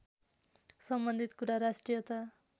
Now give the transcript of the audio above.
सम्बन्धित कुरा राष्ट्रियता